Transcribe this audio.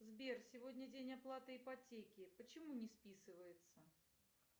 сбер сегодня день оплаты ипотеки почему не списывается